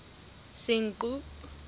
senqu